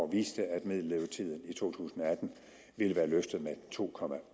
viste at middellevetiden i to tusind og atten ville være løftet med to